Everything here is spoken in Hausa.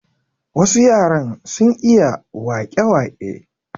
Wasu yaran sun iya wake wake.